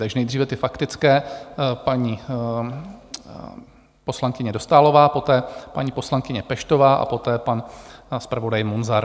Takže nejdříve ty faktické, paní poslankyně Dostálová, poté paní poslankyně Peštová a poté pan zpravodaj Munzar.